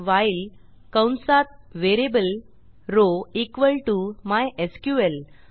while कंसात variable row equal to MySQL